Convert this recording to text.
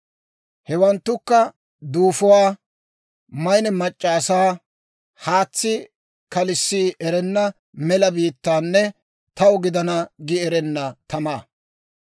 Hewanttukka: duufuwaa, maynne mac'c'a asaa, haatsi kalissi erenna mela biittaanne, «Taw gidana!» gi erenna tamaa.